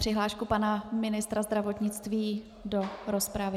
Přihlášku pana ministra zdravotnictví do rozpravy.